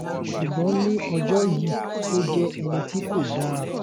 ṣùgbọ́n ní ọjọ́ yìí ó jẹ́ ẹni tí kò dáa